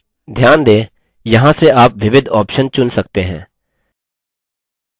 ध्यान दें यहाँ से आप विविध options चुन सकते हैं